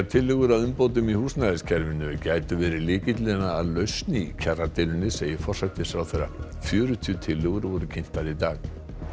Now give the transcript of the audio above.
tillögur að umbótum í húsnæðiskerfinu gætu verið lykillinn að lausn í kjaradeilunni segir forsætisráðherra fjörutíu tillögur voru kynntar í dag